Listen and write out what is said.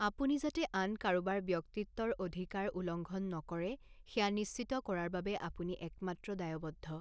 আপুনি যাতে আন কাৰোবাৰ ব্যক্তিত্বৰ অধিকাৰ উলংঘন নকৰে সেয়া নিশ্চিত কৰাৰ বাবে আপুনি একমাত্ৰ দায়বদ্ধ।